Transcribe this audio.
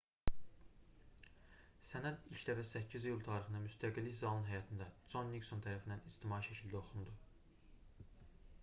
sənəd ilk dəfə 8 iyul tarixində müstəqillik zalının həyətində con nikson tərəfindən ictimai şəkildə oxundu